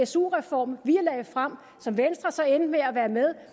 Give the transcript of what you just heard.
su reform vi lagde frem som venstre så endte med at være med